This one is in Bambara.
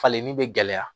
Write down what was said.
Falen ni be gɛlɛya